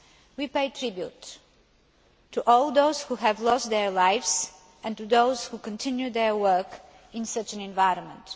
We pay tribute to all those who have lost their lives and to those who continue their work in such an environment.